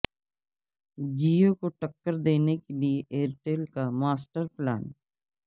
جیو کو ٹکر دینے کے لیے ایئرٹیل کا ماسٹر پلان